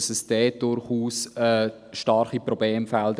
Dort gibt es durchaus starke Problemfelder.